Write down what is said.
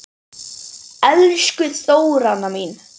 Elsku Þóranna mín.